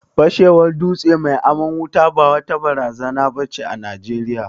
Fashewar dutse mai aman wuta ba wata barazana ba ce a Najeriya.